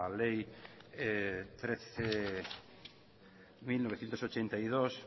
ley trece barra mil novecientos ochenta y dos